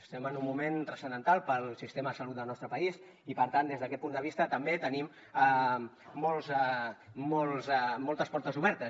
estem en un moment transcendental per al sistema de salut del nostre país i per tant des d’aquest punt de vista també tenim moltes portes obertes